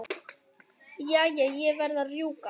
Jæja, ég verð að rjúka.